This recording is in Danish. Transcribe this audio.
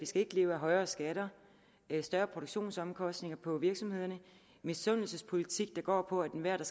skal leve af højere skatter større produktionsomkostninger på virksomhederne og misundelsespolitik der går på at enhver der